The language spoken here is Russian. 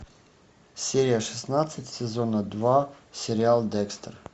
серия шестнадцать сезона два сериал декстер